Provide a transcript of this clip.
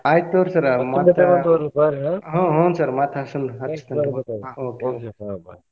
ಆಯ್ತ್ ತುಗೋರಿ sir ಮತ್ತ ಹ್ಮ್ ಹ್ಮ್ sir ಮತ್ತ ಹಚ್ಚತೇನ್ರಿ okay bye .